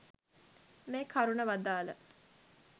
මේ කරුණ වදාළා.